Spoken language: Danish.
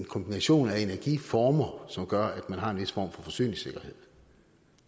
kombination af energiformer som gør at man har en vis form for forsyningssikkerhed